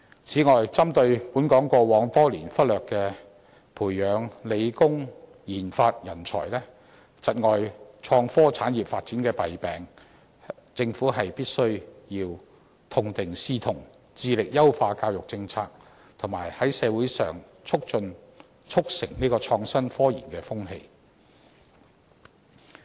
此外，針對本港過往多年忽略培養理、工研發人才，窒礙創科產業發展的弊病，政府必須痛定思痛，致力優化教育政策，以及在社會上促成創新科研的風氣。